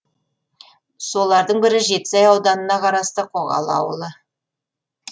солардың бірі жетісай ауданынан қарасты қоғалы ауылы